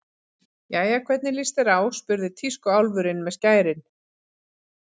Jæja, hvernig líst þér á spurði tískuálfurinn með skærin.